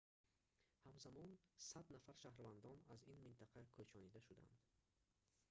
ҳамзамон 100 нафар шаҳрвандон аз ин минтақа кӯчонида шудаанд